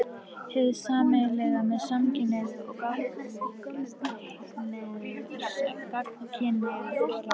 Hið sameiginlega með samkynhneigðu og gagnkynhneigðu fólki